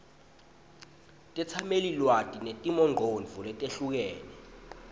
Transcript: tetsamelilwati netimongcondvo letehlukene